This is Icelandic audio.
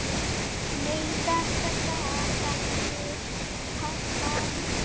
Nei þetta gat ekki passað.